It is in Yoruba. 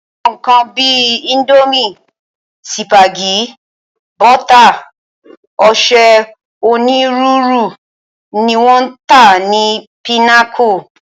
Àwọn nǹkan bí i íńdómì, sípágì, bọ́tà, ọṣẹ onírúurú ni wọ́n ń tà ní Pinnacle.